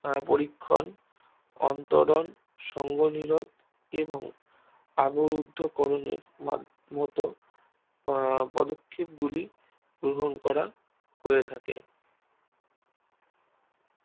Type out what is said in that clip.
পরীক্ষণ অন্তরণ সংগনিলন এবং আবরুদ্ধ করণে মতো পদক্ষেপ গুলি গ্রহণ করা হয়ে থাকে